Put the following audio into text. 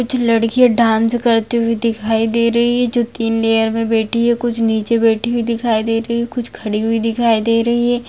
कुछ लड़कियां डांस करती हुई दिखाई दे रही है जो कि लेयर मे बैठी है कुछ नीचे बैठी हुई दिखाई दे रही है कुछ खड़ी हुई दिखाई दे रही है।